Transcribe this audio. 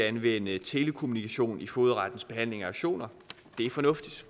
anvende telekommunikation i fogedrettens behandling af auktioner det er fornuftigt